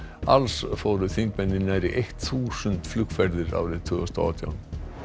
alls fóru þingmenn í nærri þúsund flugferðir árið tvö þúsund og átján